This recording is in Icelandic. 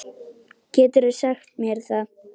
Geturðu sagt mér það?